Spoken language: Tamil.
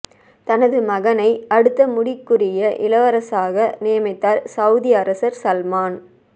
தனது மகனை அடுத்த முடிக்குரிய இளவரசராக நியமித்தார் செளதி அரசர் சல்மான்